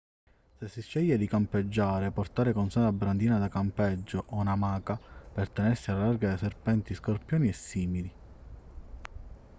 se si sceglie di campeggiare portare con sé una brandina da campeggio o un'amaca per tenersi alla larga da serpenti scorpioni e simili